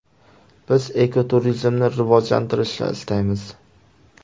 Biz ekoturizmni rivojlantirishni istaymiz.